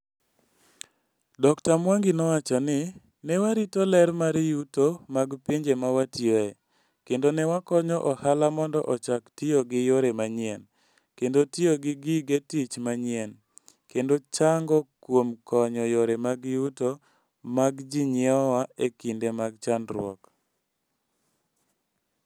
Dr Mwangi nowacho ni, "Ne warito ler mar yuto mag pinje ma watiyoe, kendo ne wakonyo ohala mondo ochak tiyo gi yore manyien, kendo tiyo gi gige tich manyien, kendo chango kuom konyo yore mag yuto mag jonyiewowa e kinde mag chandruok".